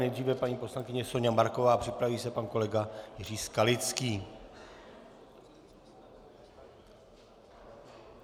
Nejdříve paní poslankyně Soňa Marková, připraví se pan kolega Jiří Skalický.